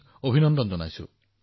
আপোনাক অভিনন্দন জনাইছো